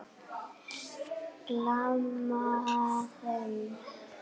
Gleyma þeim.